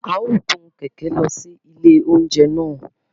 A o gun kẹkẹ lọ si ilé oúnjẹ náà